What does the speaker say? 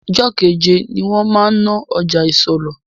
Jọ́keje ni wọn máa ń ná ọjà isọlọ̀